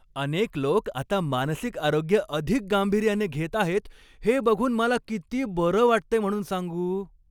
अनेक लोक आता मानसिक आरोग्य अधिक गांभीर्याने घेत आहेत हे बघून मला किती बरं वाटतंय म्हणून सांगू.